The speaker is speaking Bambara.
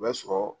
O bɛ sɔrɔ